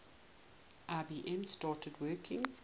ibm started working